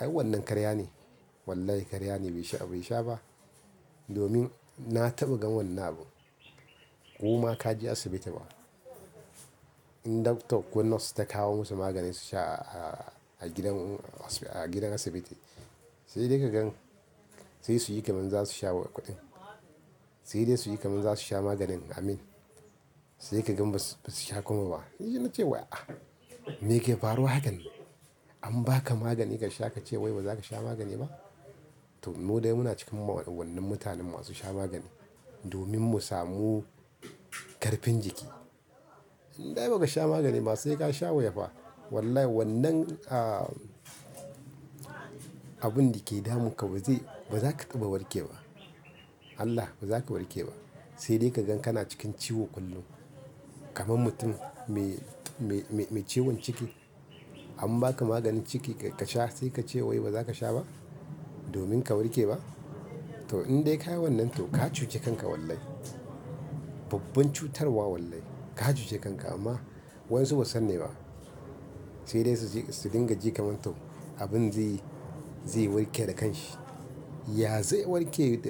Ai wannan karya ne. Wallahi karya ne bai sha, bai sha ba. Domin na taɓa gan wannan abu. Ko ma ka je asibiti ba. In doctor ko nurse ta kawo musu magani su sha a, a gidan, a gidan asibiti, sai dai ka gan, sai su yi kamar za su sha kuɗin. Sai dai su yi kamar za su sha maganin Amin, sai ka gan ba su, ba su sha kuma ba. Ni na ce wai "ah me ke faruwa hakan nan? An ba ka magani ka sha ka ce wai ba za ka sha magani ba?" To mu dai muna cikin wannan mutanen masu sha magani, domin mu samu ƙarfin jiki. In dai ba ka sha magani ma sai ka sha waya fa. Wallahi wannan, ah, abin da ke damun ka ba zai, ba za ka taba warke ba. Allah, ba za ka warke ba. Sai dai ka gan kana cikin ciwo kullum. Kaman mutum mai, mai, mai, mai ciwon ciki an ba ka maganin ciki ka sha sai ka ce wai ba za ka sha ba? Domin ka warke ba? To in dai ka yi wannan to ka cuce kanka wallahi. Babban cutarwa wallahi. Ka cuce kanka amma wayan su ba san ne ba. Sai dai su je, su dinga ji kamar to abin zai, zai warke da kan shi. Ya zaiwarke.